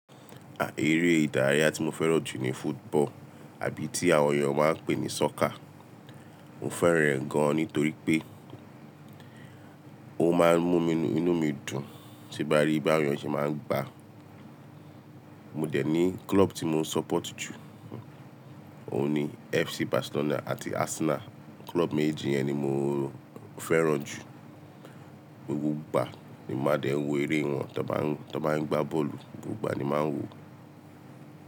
À ere ìdárayá tí mo fẹ́ràn jù ní football àbí ti àwọn èèyàn máa n pè ní soccer. Mo fẹ́ràn rẹ̀ gan nítorí pé ó má n mú inú mi dùn tí mo bá rí bí àwọn èèyàn ṣe máa n gbá. Mo dẹ̀ ní club tí mo support jù, òun ni FC Barcelona àti Arsenal. Club méjì yẹn ni mo fẹ́ràn jù. Gbogbo ìgbà ni máa dẹ̀ n wo eré wọn tí wọ́n bá n gbá bọ́ọ̀lù, gbogbo ìgbà ni màá n wo.